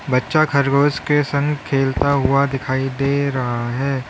बच्चा खरगोश के संग खेलता हुआ दिखाई दे रहा है।